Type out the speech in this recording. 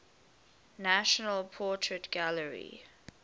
national portrait gallery